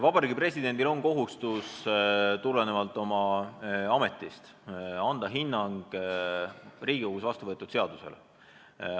Vabariigi Presidendil on tulenevalt oma ametist kohustus anda hinnang Riigikogus vastu võetud seadusele.